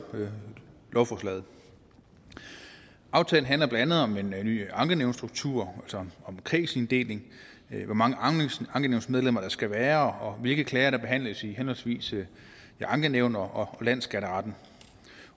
lovforslaget aftalen handler blandt andet om en ny ankenævnsstruktur om kredsinddeling hvor mange ankenævnsmedlemmer der skal være og om hvilke klager der behandles i henholdsvis ankenævn og landsskatteretten